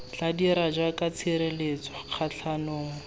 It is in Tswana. tla dira jaaka tshireletso kgatlhanong